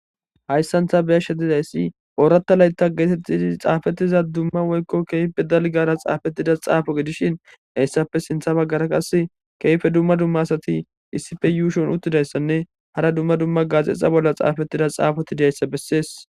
hayssanta beyashetidayssi ooratta layta geetettidi xaafettiza dumma woykko keype dalgara xaafettida xaafo gedishin heyssappe sintha baggara qas keyfe dumma dumma asati issife yuushon uttidayssanne hara dumma dumma gaazexa bolla xaafettida xaafoti dayssa bessees